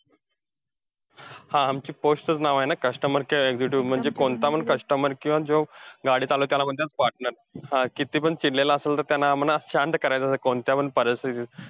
हा post च चं नाव आहे ना customer care executive म्हणजे कोणतापण customer किंवा जो गाडी चालवतो, त्याला म्हणतात partner कितीपण चिडलेला असेल, तर त्याला म्हणा शांत करायचं कोणत्या पण परिस्थितीत.